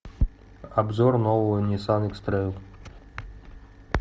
обзор нового ниссан икс трейл